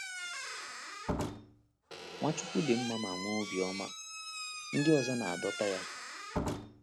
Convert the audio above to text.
Nwachukwu dị mma ma nwee obiọma, ndị ọzọ na-adọta ya.